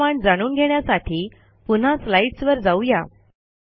पुढील कमांड जाणून घेण्यासाठी पुन्हा स्लाईडस वर जाऊ या